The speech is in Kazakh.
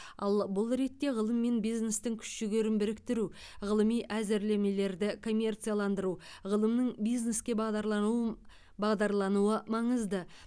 ал бұл ретте ғылым мен бизнестің күш жігерін біріктіру ғылыми әзірлемелерді коммерцияландыру ғылымның бизнеске бағдарлануын бағдарлануы маңызды